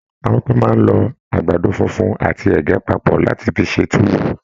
Àwọn kán máa n lọ àgbàdo fúnfún àti ẹgẹ papọ láti fí ṣe tuwo.